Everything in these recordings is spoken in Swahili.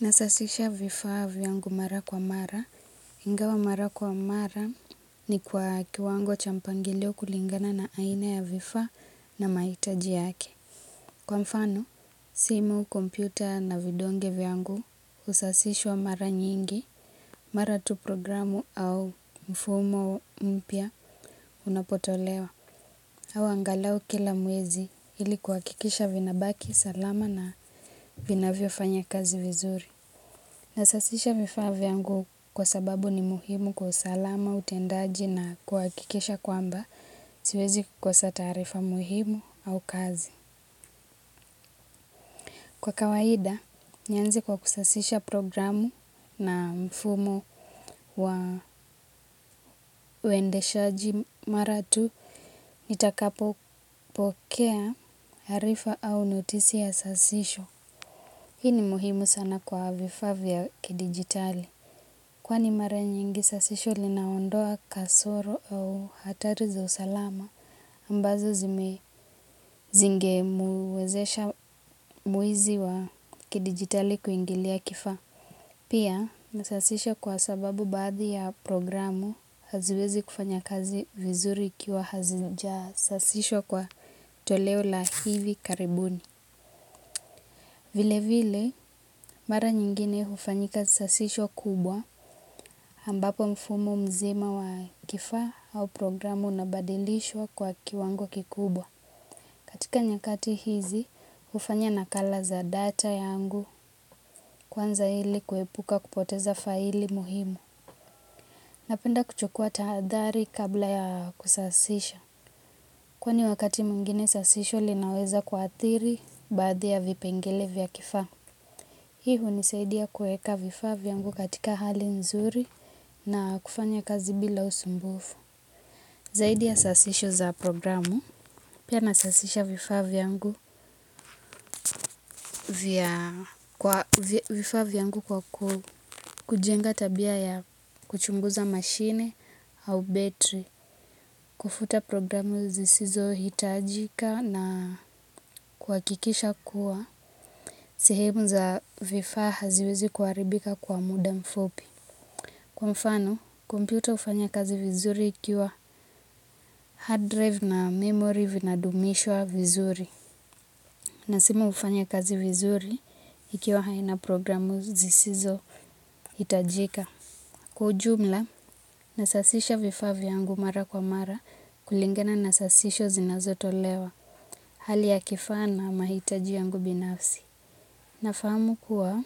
Nasasisha vifaa vyangu mara kwa mara. Ingawa mara kwa mara ni kwa kiwango cha mpangilio kulingana na aina ya vifaa na mahitaji yake. Kwa mfano, simu, kompyuta na vidonge vyangu husasishwa mara nyingi, mara tu programu au mfumo mpya unapotolewa. Au angalau kila mwezi ili kuhakikisha vinabaki salama na vinavyofanya kazi vizuri. Nasasisha vifaa vyangu kwa sababu ni muhimu kwa usalama, utendaji na kuhakikisha kwamba siwezi kosa taarifa muhimu au kazi. Kwa kawaida, nianze kwa kusasisha programu na mfumo wa uendeshaji mara tu, nitakapopokea taarifa au notisi ya sasisho. Hii ni muhimu sana kwa vifaa vya kidigitali. Kwani mara nyingi sasisho linaondoa kasoro au hatari za usalama ambazo zingemwezesha mwizi wa kidigitali kuingilia kifaa. Pia msasisho kwa sababu baadhi ya programu haziwezi kufanya kazi vizuri ikiwa hazijasasishwa kwa toleo la hivi karibuni. Vilevile mara nyingine hufanyika sasisho kubwa ambapo mfumo mzima wa kifaa au programu unabadilishwa kwa kiwango kikubwa. Katika nyakati hizi, hufanya nakala za data yangu kuanza ili kuepuka kupoteza faili muhimu. Napenda kuchukua tahadhari kabla ya kusasisha. Kwani wakati mwengine sasisho linaweza kuathiri baadhi ya vipengele vya kifaa. Hii hunisaidia kueka vifaa vyangu katika hali nzuri na kufanya kazi bila usumbufu. Zaidi ya sasisho za programu. Pia nasasisha vifaa vyangu kwa kujenga tabia ya kuchunguza mashine au betri. Kufuta programu zisizohitajika na kuhakikisha kuwa. Sehemu za vifaa haziwezi kuharibika kwa muda mfupi. Kwa mfano, kompyuta hufanya kazi vizuri ikiwa hard drive na memory vinadumishwa vizuri. Na simu hufanya kazi vizuri ikiwa haina programu zisizohitajika. Kwa ujumla, nasasisha vifaa vyangu mara kwa mara kulingana na sasisho zinaotolwa hali ya kifaa na mahitaji yangu binafsi nafahamu kuwa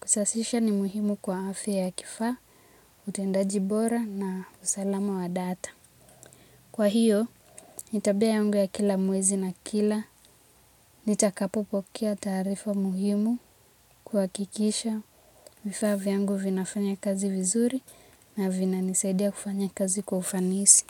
kusasisa ni muhimu kwa afya ya kifaa utendaji bora na usalama wa data. Kwa hiyo, nitabea yangu ya kila mwezi na kila, nitakapopokea taarifa muhimu kuhakikisha, vifaa vyangu vinafanya kazi vizuri na vinanisaidia kufanya kazi kwa ufanisi.